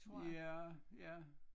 Ja ja